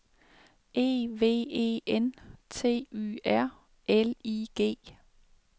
E V E N T Y R L I G